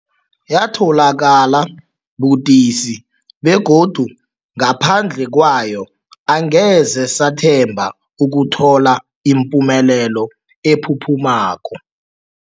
Yatholakala budisi, begodu ngaphandle kwayo angeze sathemba ukuthola ipumelelo ephuphumako.